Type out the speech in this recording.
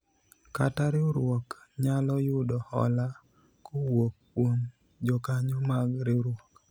kata riwruok nyalo yudo hola kowuok kuom jokanyo mag riwruok